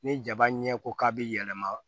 Ni jaba ɲɛko ka bi yɛlɛma